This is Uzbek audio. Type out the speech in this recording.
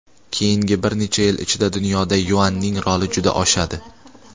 keyingi bir necha yil ichida dunyoda yuanning roli juda oshadi.